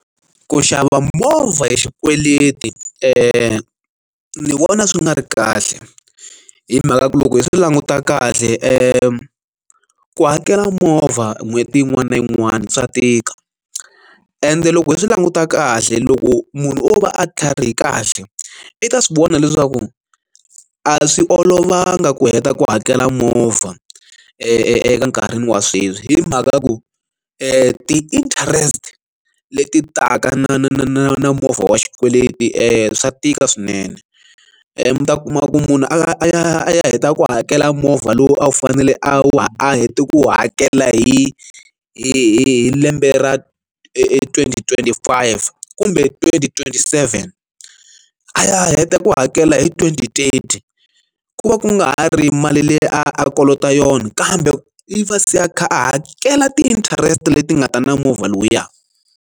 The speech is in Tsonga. Ku xava movha hi xikweleti ni vona swi nga ri kahle hi mhaka ku loko hi swi languta kahle ku ku hakela movha n'hweti yin'wana na yin'wana swa tika ende loko hi swi languta kahle loko munhu o va a tlharihile kahle i ta swi vona leswaku a swi olovanga ku heta ku hakela movha enkarhini wa sweswi hi mhaka ya ku ti interest leti taka na movha wa xikweleti e swa tika swinene mi ta kuma ku munhu a ya a ya heta ku hakela movha lowu a wu fanele a wu a hete ku hakela hi hi lembe ra twenty twenty five kumbe twenty twenty seven a heta ku hakela hi twenty trade ku va ku nga ha ri mali leyi a kolotaka yona kambe i va se a kha a hakela ti interest leti nga ta na movha lowuya.